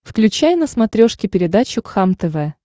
включай на смотрешке передачу кхлм тв